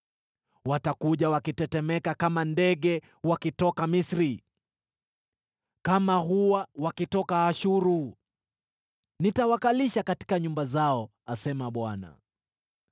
Watakuja wakitetemeka kama ndege wakitoka Misri, kama hua wakitoka Ashuru. Nitawakalisha katika nyumba zao,” asema Bwana .